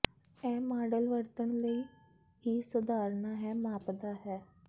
ਇਹ ਮਾਡਲ ਵਰਤਣ ਲਈ ਬਹੁਤ ਹੀ ਸਧਾਰਨ ਹੈ ਮਾਪਦਾ ਹੈ